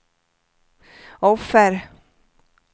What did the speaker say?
offer